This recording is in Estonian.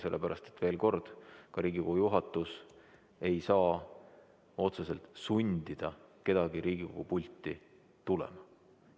Sellepärast et veel kord, ka Riigikogu juhatus ei saa otseselt sundida kedagi Riigikogu pulti tulema.